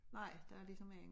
Nej der ligesom ingen